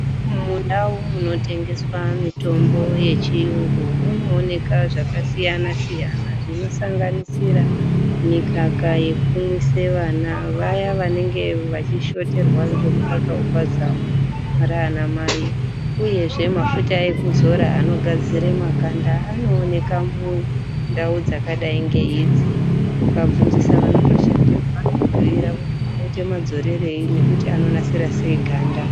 Mundau munotengeswa mitombo yechiyungu munooneka zvakasiyana-siyana zvinosanganisira mikaka yekumwise vana vaya vanenge vachishoterwa ngemukak wepazamo raana mai uyezve mafuta ekuzora anogadzire makanda anooneka mundau dzakadai ngeidzi ukatobvunzisa vanotoshandemwo vanokubhuira kuti unoita madzorerei inonasira sei ganda.